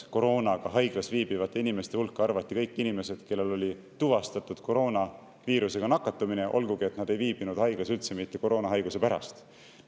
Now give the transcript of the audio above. Koroonaga haiglas viibivate inimeste hulka arvati kõik inimesed, kellel oli tuvastatud koroonaviirusega nakatumine, olgugi et nad ei viibinud haiglas üldse mitte COVID-ist haiguse pärast.